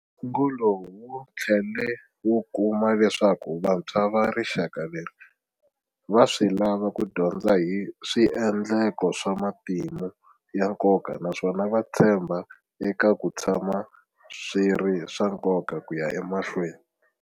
Ngo lowu wu tlhele wu kuma leswaku vantshwa va rixaka leri va swi lava ku dyondza hi swiendleko swa matimu ya nkoka naswona va tshemba eka ku tshama swi ri swa nkoka ku ya emahlweni.